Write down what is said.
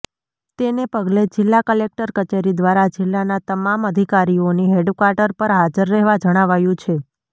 તેને પગલે જિલ્લા કલેક્ટર કચેરી દ્વારા જિલ્લાના તમામ અધિકારીઓને હેડક્વાર્ટર પર હાજર રહેવા જણાવાયું છે